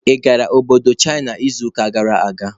Ị gara Obodo China n'izuụka gara aga?